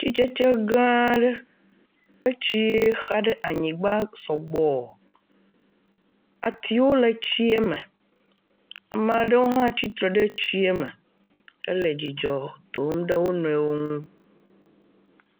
Atitsetse gãa aɖe. Etsi xa ɖe anyigba sɔgbɔɔ. Atiwo le tsiɛ me. Ama ɖewo hã tsi tre ɖe tsiɛ me hele dzidzɔ dom ɖe wo nɔewo ŋu.